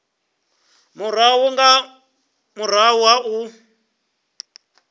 murahu nga murahu ha u